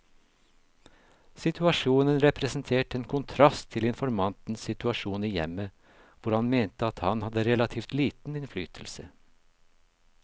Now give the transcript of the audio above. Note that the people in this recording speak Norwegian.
Situasjonen representerte en kontrast til informantens situasjon i hjemmet, hvor han mente at han hadde relativt liten innflytelse.